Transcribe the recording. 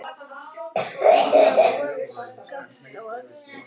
Finnar voru skammt á eftir.